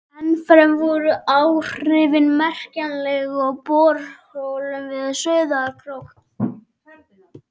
Ennfremur voru áhrifin merkjanleg í borholum við Sauðárkrók.